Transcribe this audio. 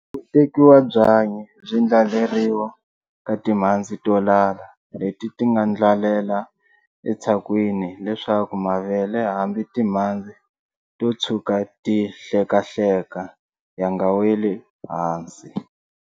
Ku tekiwa byanyi byi ndlaleriwa ka timhandzi to lala leti nga ndlalela etshakwini leswaku mavele hambi timhandzi to tshuka ti hlekahleka ya nga weli ehansi.